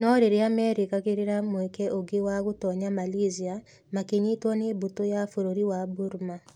No rĩrĩa meerĩgagĩrĩra mweke ũngĩ wa gũtoonya Malaysia, makĩnyitwo nĩ mbũtũ ya bũrũri wa Burma.